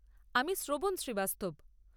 আমি শ্রবণ শ্রীবাস্তব।